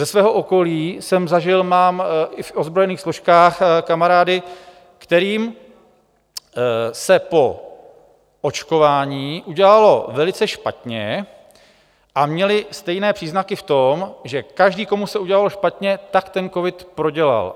Ze svého okolí jsem zažil, mám i v ozbrojených složkách kamarády, kterým se po očkování udělalo velice špatně a měli stejné příznaky v tom, že každý, komu se udělalo špatně, tak ten covid prodělal.